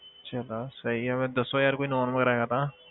ਅੱਛਾ ਇਹ ਤਾਂ ਸਹੀ ਆ ਫਿਰ ਦੱਸੋ ਯਾਰ ਕੋਈ known ਹੈ ਤਾਂ।